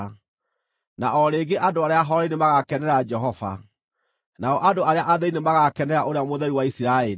Na o rĩngĩ andũ arĩa ahooreri nĩmagakenera Jehova; nao andũ arĩa athĩĩni nĩmagakenera Ũrĩa Mũtheru wa Isiraeli.